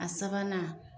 A sabanan